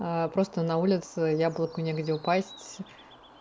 просто на улице яблоку негде упасть